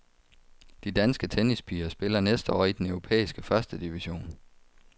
De danske tennispiger spiller næste år i den europæiske første division.